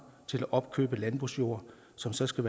til at opkøbe landbrugsjord som så skal